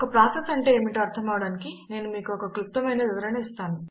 ఒక ప్రాసెస్ అంటే ఏమిటో అర్ధమవడానికి నేను మీకు ఒక క్లుప్తమైన వివరణ ఇస్తాను